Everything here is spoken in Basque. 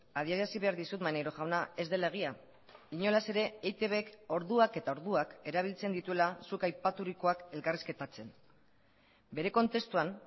adierazi behar dizut maneiro jauna ez dela egia inolaz ere eitbk orduak eta orduak erabiltzen dituela zuk aipaturikoak elkarrizketatzen bere kontestuan